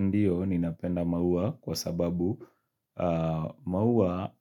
Ndiyo, ninapenda maua kwa sababu maua